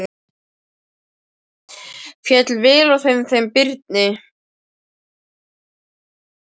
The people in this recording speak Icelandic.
Féll vel á með þeim Birni.